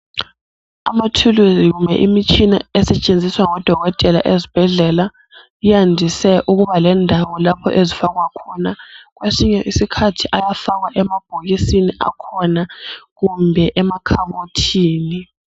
Amathuluzi kumbe imitshina esetshenziswa ngodokotela ezbhedlela yandise ukuba lendawo lapho ezfakwa khona. Kwesinye isikhathi iyafakwa emabhokisini akhona kumbe emakhabothinini.